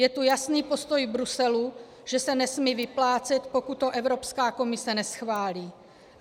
Je tu jasný postoj Bruselu, že se nesmí vyplácet, pokud to Evropská komise neschválí.